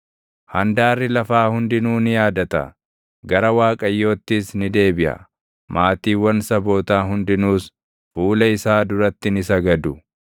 Handaarri lafaa hundinuu ni yaadata; gara Waaqayyoottis ni deebiʼa; maatiiwwan sabootaa hundinuus fuula isaa duratti ni sagadu;